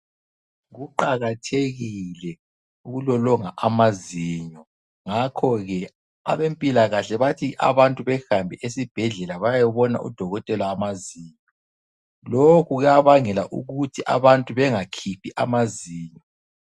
Kuqakathekile ukulolonga amazinyo, ngakhoke abempilakahle bathi abantu behambe esibhedlela bayebona udokotela wamazinyo. Lokhu kuyabangela ukuthi abantu bengakhiphi amazinyo.